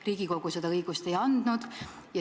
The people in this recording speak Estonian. Riigikogu seda õigust ei andnud.